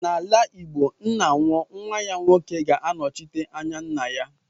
N'ala igbo ńnà nwụọ nwa ya nwoke ga - anọchite anya ńnà ya.